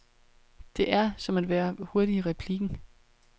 Det er, som at være hurtig i replikken.